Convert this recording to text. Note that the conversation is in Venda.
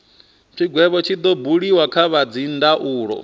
tshigwevho tshi do buliwa kha dzindaulo